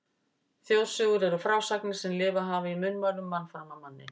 Þjóðsögur eru frásagnir sem lifað hafa í munnmælum mann fram af manni.